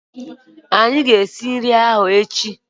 Anyị ga-esi nri ahụ echi